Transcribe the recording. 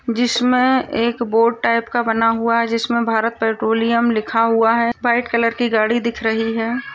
जिसमे एक board type का बना हुआ है जिसमे भारत पेट्रोलियम लिखा हुआ है वाइट कलर की गाड़ी दिख रही है।